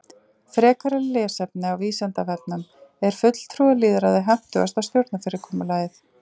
Frekara lesefni á Vísindavefnum Er fulltrúalýðræði hentugasta stjórnarfyrirkomulagið?